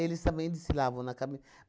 também desfilavam na cami